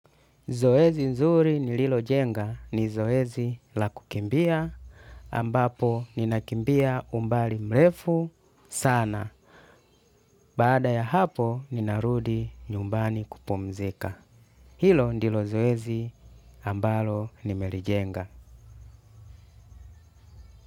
Zoezi nzuri nililojenga ni zoezi la kukimbia, ambapo ninakimbia umbali mrefu sana. Baada ya hapo ninarudi nyumbani kupumzika. Hilo ndilo zoezi ambalo nimelijenga.